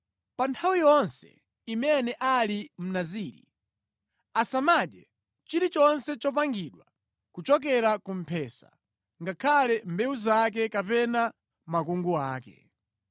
Pa nthawi yonse imene ali Mnaziri, asamadye chilichonse chopangidwa kuchokera ku mphesa ngakhale mbewu zake kapena makungu ake.’